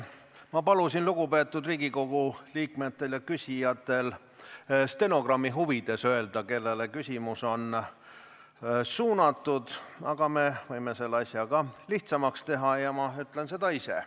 Ma palusin lugupeetud Riigikogu liikmetel, kes küsivad, stenogrammi huvides öelda, kellele küsimus on suunatud, aga me võime selle asja ka lihtsamaks teha ja ma ütlen seda ise.